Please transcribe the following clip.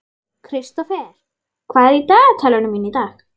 Kristófer, hvað er í dagatalinu mínu í dag?